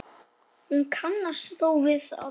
Hún kannast þó við það.